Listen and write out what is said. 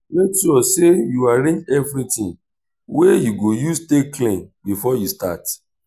mek sure sey yu arrange evritin wey yu go use take clean bifor yu start